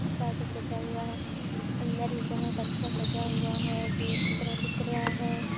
सास स सजा हुआ है अंदर बहुत अच्छा सजा हुआ है गेट की तरह दिख रहा है।